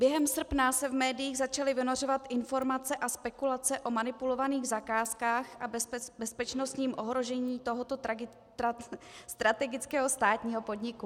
Během srpna se v médiích začaly vynořovat informace a spekulace o manipulovaných zakázkách a bezpečnostním ohrožení tohoto strategického státního podniku.